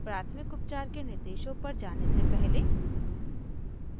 प्राथमिक उपचार के निर्देशों पर जाने से पहले